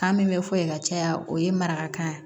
Kan min bɛ fɔ yen ka caya o ye marakan ye